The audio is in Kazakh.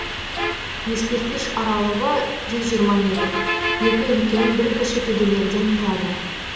ескерткіш аралығы жүз жиырма метр екі үлкен бір кіші төбелерден тұрады